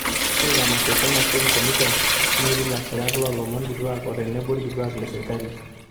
ore ina masho e kenya film commission netii ilasirak loo lomon kituaak o tenebo ilkituak le serikali